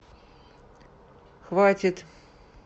хватит